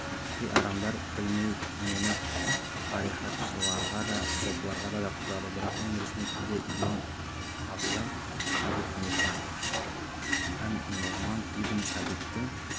кей адамдар білмей мені тарихатшыларға да сопыларға да жатқызады бірақ мен ресми түрде имам ағзам әбу ханифа ан нұғман ибн сәбиттің